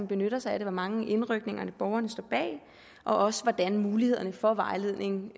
benytter sig af det hvor mange indrykninger borgerne står bag og også hvordan mulighederne for vejledning